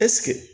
Ɛseke